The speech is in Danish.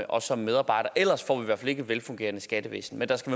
og som medarbejder ellers får vi i hvert fald ikke et velfungerende skattevæsen men der skal